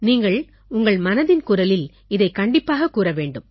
நீங்கள் உங்கள் மனதின் குரலில் இதைக் கண்டிப்பாகக் கூற வேண்டும்